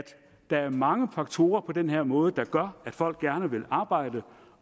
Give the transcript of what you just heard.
der er mange faktorer der på den her måde gør at folk gerne vil arbejde